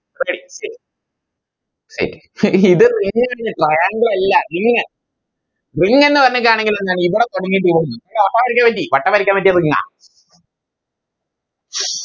okay okay wait ഇത് Ring ആണ് Triangle അല്ല Ring ring എന്ന് പറഞ്ഞിട്ടാണെങ്കിൽ എന്താണ് ഇതാ തൊടങ്ങേണ്ടി വട്ടം വരയ്ക്കാൻ വേണ്ടി Ring ആ